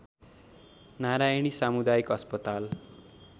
नारायणी सामुदायिक अस्पताल